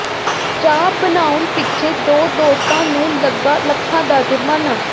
ਚਾਹ ਬਣਾਉਣ ਪਿੱਛੇ ਦੋ ਦੋਸਤਾਂ ਨੂੰ ਲੱਗਾ ਲੱਖਾਂ ਦਾ ਜ਼ੁਰਮਾਨਾ